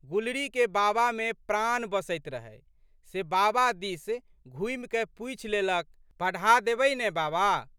गुलरीके बाबामे प्राण बसैत रहै से बाबा दिस घुमिकए पूछि लेलक, पढ़ै देबै ने बाबा?